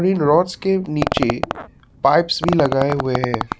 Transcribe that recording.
इन rods के नीचे pipes भी लगाए हुए हैं।